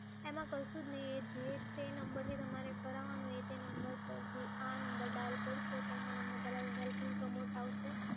એમાં કશું જ નઈ, એ જે-તે નંબરથી કારાવાનો હોય તે નંબર પરથી આ નંબર ડાયલ કરશો તો એમાં તમને પહેલાં મોબાઇલ પ્રમોટ આવશે